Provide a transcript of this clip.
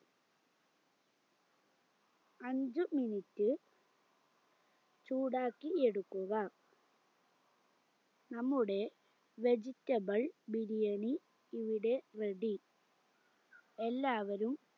അഞ്ച് minute ചൂടാക്കി എടുക്കുക നമ്മുടെ vegetable ബിരിയാണി ഇവിടെ ready എല്ലാവരും